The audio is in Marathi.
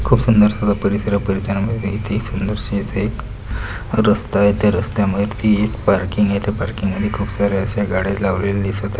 खूप सुंदर एक परिसर आहे परिसरामध्ये येथे सुंदर से असे एक रस्ता आहे ते रस्त्या मधी पार्किंग आहे त्या पार्किंग मध्ये खूप सारे अश्या गाड्या लावलेले दिसत आ--